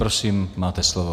Prosím, máte slovo.